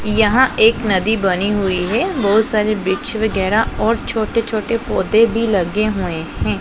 यहां एक नदी बनी हुई है। बहोत सारी वृक्ष वगैरा और छोटे-छोटे पौधे भी लगे हुए हैं।